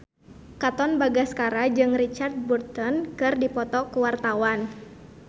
Katon Bagaskara jeung Richard Burton keur dipoto ku wartawan